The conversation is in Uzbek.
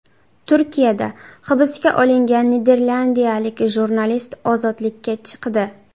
Turkiyada hibsga olingan niderlandiyalik jurnalist ozodlikka chiqdi.